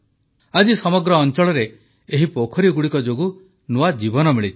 ଆଜି ସମଗ୍ର ଅଂଚଳରେ ଏହି ପୋଖରୀଗୁଡ଼ିକ ଯୋଗୁଁ ନୂଆ ଜୀବନ ମିଳିଛି